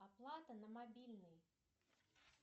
оплата на мобильный